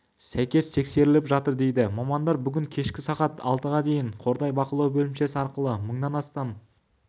сәйкес тексеріліп жатыр дейді мамандар бүгін кешкі сағат алтыға дейін қордай бақылау бөлімшесі арқылы мыңнан